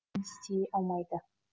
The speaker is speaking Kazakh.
істей алмайды